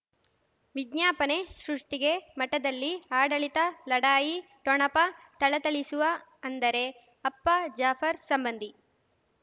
ವಿಜ್ಞಾಪನೆ ಸೃಷ್ಟಿಗೆ ಮಠದಲ್ಲಿ ಆಡಳಿತ ಲಢಾಯಿ ಠೊಣಪ ಥಳಥಳಿಸುವ ಅಂದರೆ ಅಪ್ಪ ಜಾಫರ್ ಸಂಬಂಧಿ